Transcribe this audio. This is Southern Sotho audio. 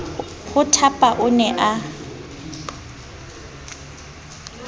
ho thapa o ne a